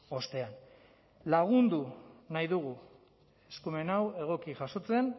ostean lagundu nahi dugu eskumen hau egoki jasotzen